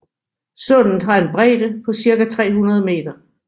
Sundet har en bredde på cirka 300 meter